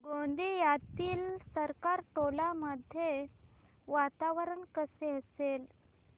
गोंदियातील सरकारटोला मध्ये वातावरण कसे असेल